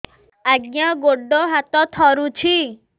ଆଜ୍ଞା ଗୋଡ଼ ହାତ ଥରୁଛି